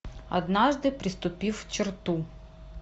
однажды преступив черту